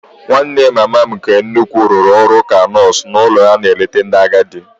Nwanne mama m nke nnukwu rụrụ ọrụ ka nọọsụ n'ụlọ ebe a na-eleta ndị agadi.